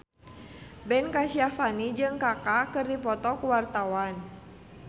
Ben Kasyafani jeung Kaka keur dipoto ku wartawan